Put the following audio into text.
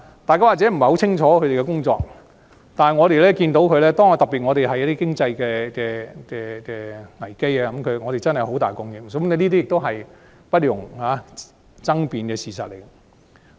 大家可能不太清楚他們的工作，但當遇上經濟危機，我們便尤其看到他們真的作出很大貢獻，是不容爭辯的事實。